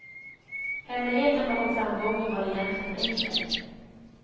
Hemligheten bakom framgången var egentligen enkel.